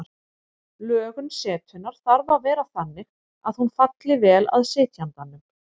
Lögun setunnar þarf að vera þannig að hún falli vel að sitjandanum.